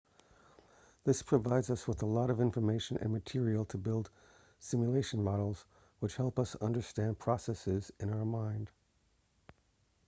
this provides us with a lot of information and material to build simulation models which help us to understand processes in our mind